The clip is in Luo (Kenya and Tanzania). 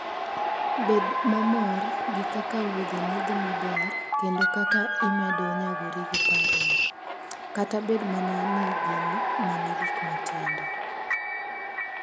Bed mamor gi kaka wuodheni dhi maber kendo kaka imedo nyagori gi parruok, kata bed mana ni gin mana gik matindo.